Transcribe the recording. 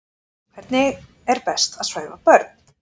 Hvernig er best að svæfa börn?